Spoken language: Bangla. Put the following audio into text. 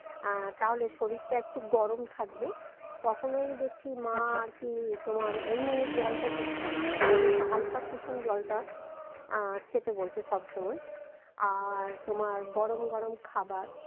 আহ তাহলে শরীরটা একটু গরম থাকবে কখনোই দেখছি মা আচ্ছা আরকি তোমার এমনি জলটা দিচ্ছে না ও বলছে হালকা কুসুম জলটা আহ খেতে বলছে সবসময় আর তোমার গরম গরম খাবার